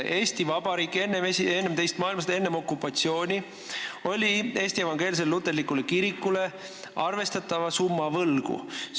Eesti Vabariik oli enne teist maailmasõda, enne okupatsiooni Eesti Evangeelsele Luterlikule Kirikule arvestatava summa võlgu.